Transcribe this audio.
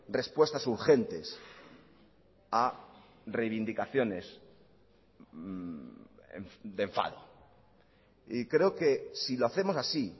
respuestas urgentes a reivindicaciones de enfado y creo que si lo hacemos así